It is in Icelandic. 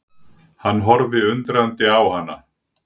Hann horfði undrandi á hana.